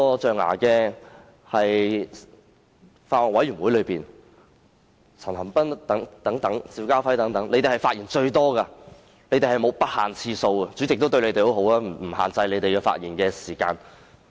在法案委員會會議上，陳恒鑌議員和邵家輝議員的發言次數最多，完全不限次數，而主席對他們也很好，沒有限制他們的發言時間。